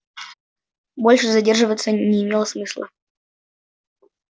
больше задерживаться не имело смысла